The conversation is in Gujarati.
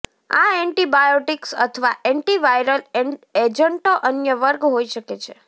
આ એન્ટીબાયોટીક્સ અથવા એન્ટિવાયરલ એજન્ટો અન્ય વર્ગ હોઈ શકે છે